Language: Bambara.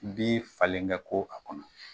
Bin falen kɛ ko a kɔnɔ.